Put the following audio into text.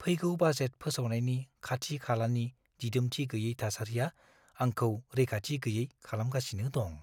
फैगौ बाजेट फोसावनायनि खाथि-खालानि दिदोमथि गैयै थासारिआ आंखौ रैखाथि गैयै खालामगासिनो दं।